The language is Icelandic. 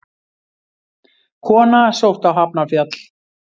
Kona sótt á Hafnarfjall